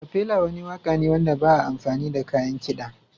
Acafela wani waƙa ne wanda ba a amfani da kayan kiɗa.